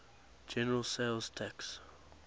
general sales tax